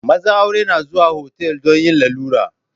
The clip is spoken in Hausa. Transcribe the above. Mazan aure na zuwa otal domin yin lalura.